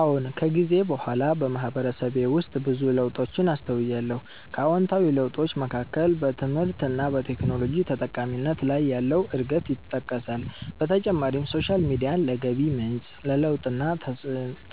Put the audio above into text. አዎን። ከጊዜ በኋላ በማህበረሰቤ ውስጥ ብዙ ለውጦችን አስተውያለሁ። ከአዎንታዊ ለውጦች መካከል በትምህርት እና በቴክኖሎጂ ተጠቃሚነት ላይ ያለው እድገት ይጠቀሳል። በተጨማሪም ሶሻል ሚዲያን ለገቢ ምንጭ፣ ለለውጥና